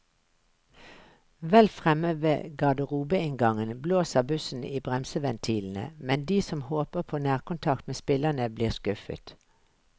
Vel fremme ved garderobeinngangen blåser bussen i bremseventilene, men de som håper på nærkontakt med spillerne, blir skuffet.